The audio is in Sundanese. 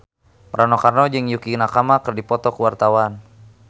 Rano Karno jeung Yukie Nakama keur dipoto ku wartawan